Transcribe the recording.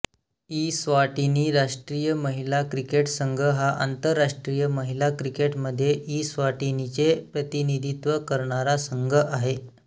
Eswatini राष्ट्रीय महिला cricket संघ हा आंतरराष्ट्रीय महिला क्रिकेटमध्ये इस्वाटिनीचे प्रतिनिधित्व करणारा संघ आहे